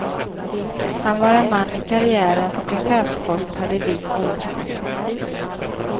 Han var en man i karriären och en chefspost hade vikts åt honom.